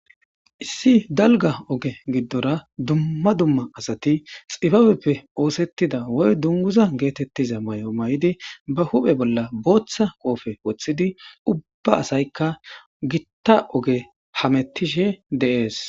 Issi dalga oge gidora duma duma asati xibabepe oosetida woyko dunguza geetetida mayo mayidi ba huuphe bola bootha qophe wothidi ubba asyka gita oge hametishe de'es.